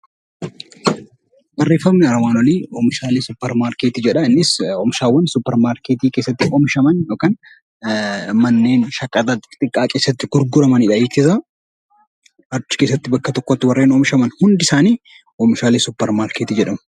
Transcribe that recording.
Barreeffamni armaan olii oomishaalee suuparmaarketii jedha. Innis oomishawwan suuparmaarketii keessatti oomishaman yookaan manneen shagaxaa keessatti gurguramanidha jechuudha. Achi keessatti bakka tokkotti warreen oomishaman hundi isaanii oomishaalee suuparmaarketii jedhamu.